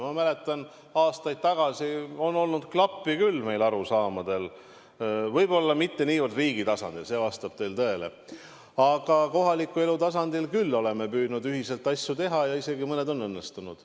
Ma mäletan, aastaid tagasi on küll klappi olnud meie arusaamadel, võib-olla mitte niivõrd riigi tasandil – see vastab tõele –, aga kohaliku elu tasandil oleme küll püüdnud ühiselt asju teha ja mõned isegi on õnnestunud.